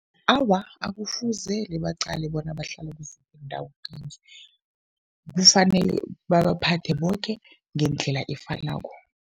Awa, akufuzele baqale bona bahlala kuziphi iindawo kufanele babaphathe boke ngendlela efanako.